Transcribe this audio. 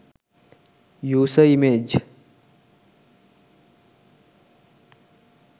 user image